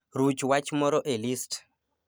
ruch wach moro e list